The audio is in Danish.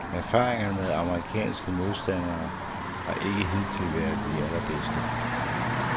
Erfaringerne med amerikanske modstandere har ikke hidtil været de allerbedste.